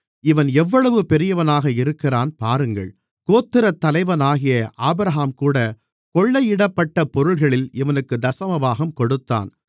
இவன் எவ்வளவு பெரியவனாக இருக்கிறான் பாருங்கள் கோத்திரத்தலைவனாகிய ஆபிரகாம்கூட கொள்ளையிடப்பட்ட பொருள்களில் இவனுக்குத் தசமபாகம் கொடுத்தான்